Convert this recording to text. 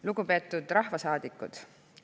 Lugupeetud rahvasaadikud!